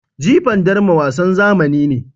Jifan darma wasan zamani ne.